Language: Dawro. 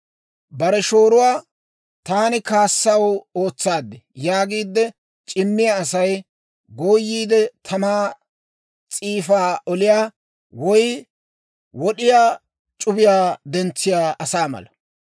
Bare shooruwaa, «Taani kaassaw ootsaad» yaagiide c'immiyaa asay, gooyiide tamaa s'iifaa oliyaa, woy wod'iyaa c'ubiyaa dentsiyaa asaa mala.